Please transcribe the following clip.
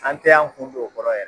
An tɛ y'an kun don o kɔrɔ